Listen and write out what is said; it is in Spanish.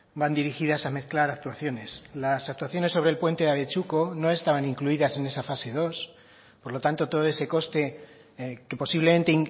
van dirigidas a mezclar actuaciones las actuaciones sobre el puente abetxuko no estaban incluidas en esa fase dos por lo tanto todo ese coste que posiblemente